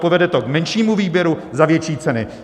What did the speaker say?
Povede to k menšímu výběru za větší ceny.